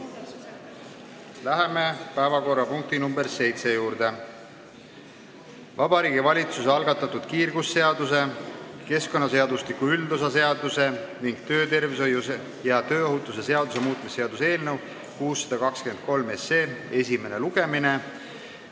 Läheme päevakorrapunkti nr 7 juurde: Vabariigi Valitsuse algatatud kiirgusseaduse, keskkonnaseadustiku üldosa seaduse ning töötervishoiu ja tööohutuse seaduse muutmise seaduse eelnõu 623 esimene lugemine.